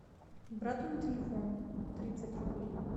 брату на телефон тридцать рублей